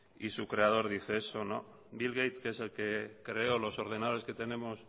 y su creador dice eso bill gates que es el que creó los ordenadores que tenemos